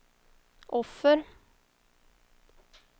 offer